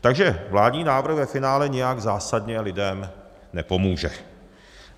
Takže vládní návrh ve finále nijak zásadně lidem nepomůže.